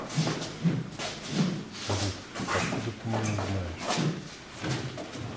салют откуда ты меня знаешь